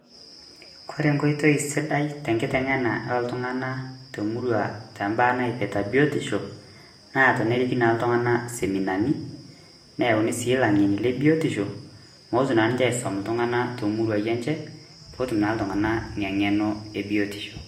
Kore enkoitoi sidai tenkiteng'ena oltung'anak temurua tombaa naipirta biotisho, na teneriki na iltung'anak seminani, neyauni si ilang'eni le biotisho mooti na ninche aisom iltung'anak tomuruai enche, potum na iltung'anak ina ng'eno ebiotisho.